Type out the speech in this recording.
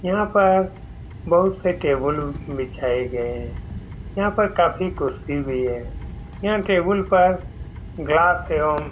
यहाँ पर बहुत से टेबुल बिछाए गये हैं यहाँ पर काफी कुर्सी भी है यह टेबुल पर ग्लास एवं --